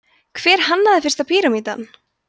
hver hannaði fyrsta píramídann